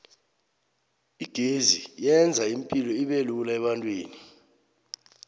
igezi yenza ipilo ubelula ebantwini